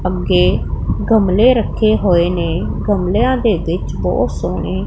ਪੱਕੇ ਗਮਲੇ ਰੱਖੇ ਹੋਏ ਨੇ ਗਮਲੇਆਂ ਦੇ ਵਿੱਚ ਬੋਹੁਤ ਸੋਹਣੇ--